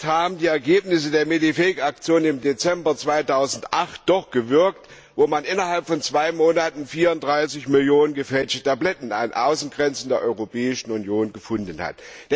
Aber vielleicht haben die Ergebnisse der MEDI FAKE Aktion im Dezember 2008 doch Wirkung gezeigt, wo man innerhalb von zwei Monaten 34 Millionen gefälschte Tabletten an den Außengrenzen der Europäischen Union gefunden hat.